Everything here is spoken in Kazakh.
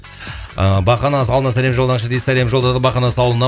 ыыы бақанас ауылына сәлем жолдаңызшы дейді сәлем жолдадық бақанас ауылына